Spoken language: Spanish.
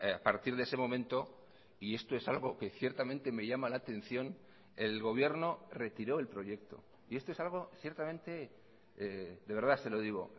a partir de ese momento y esto es algo que ciertamente me llama la atención el gobierno retiró el proyecto y esto es algo ciertamente de verdad se lo digo